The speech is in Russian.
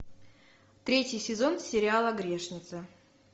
третий сезон сериала грешница